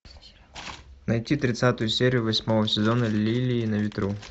найти тридцатую серию восьмого сезона лилии на ветру